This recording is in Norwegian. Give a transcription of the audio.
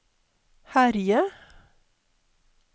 herje